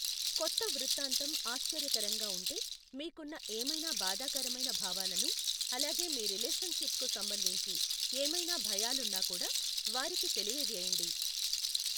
కొత్త వృత్తాంతం ఆశ్చర్యకరంగా ఉంటే, మీకున్న ఏమైనా బాధాకరమైన భావాలను, అలాగే మీ రిలేషన్‌షిప్‌కు సంబంధించి ఏమైనా భయాలున్నా కూడా వారికి తెలియజేయండి.